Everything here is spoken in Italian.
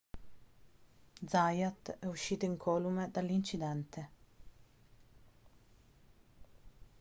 zayat è uscito incolume dall'incidente